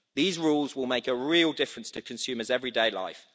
These rules will make a real difference to consumers' everyday life.